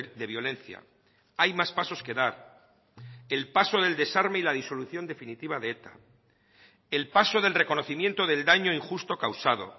de violencia hay más pasos que dar el paso del desarme y la disolución definitiva de eta el paso del reconocimiento del daño injusto causado